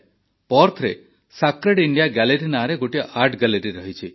ପର୍ଥରେ Sacred India Gallery ନାଁରେ ଗୋଟିଏ art gallery ରହିଛି